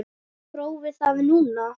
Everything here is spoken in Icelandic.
Prófið það núna.